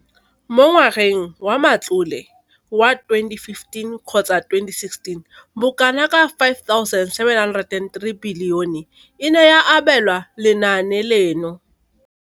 Mo ngwageng wa matlole wa 2015,16, bokanaka R5 703 bilione e ne ya abelwa lenaane leno.